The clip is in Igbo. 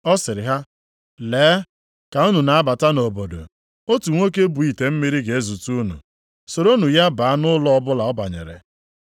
Ọ sịrị ha, “Lee, ka unu na-abata nʼobodo, otu nwoke bu ite mmiri ga-ezute unu, soronụ ya baa nʼụlọ ọbụla ọ banyere.